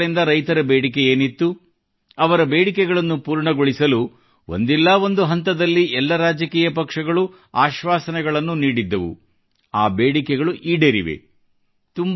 ಹಲವು ವರ್ಷಗಳಿಂದ ರೈತರ ಬೇಡಿಕೆಯೇನಿತ್ತು ಅವರ ಬೇಡಿಕೆಗಳನ್ನು ಪೂರ್ಣಗೊಳಿಸಲು ಒಂದಲ್ಲ ಒಂದು ಹಂತದಲ್ಲಿ ಎಲ್ಲ ರಾಜಕೀಯ ಪಕ್ಷಗಳು ಆಶ್ವಾಸನೆಯನ್ನು ನೀಡಿದ್ದವು ಆ ಬೇಡಿಕೆಗಳು ಈಡೇರಿವೆ